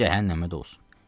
Cəhənnəmə də olsun.